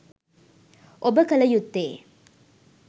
ඔබ කළ යුත්තේ